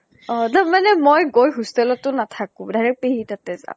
অহ মই গৈ hostel টো নাথাকো। direct পেহীৰ তাতে যাম।